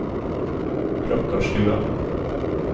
Klokkarstua